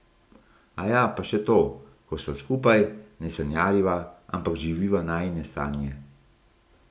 Aja, pa še to, ko sva skupaj, ne sanjariva, ampak živiva najine sanje.